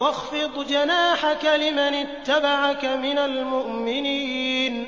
وَاخْفِضْ جَنَاحَكَ لِمَنِ اتَّبَعَكَ مِنَ الْمُؤْمِنِينَ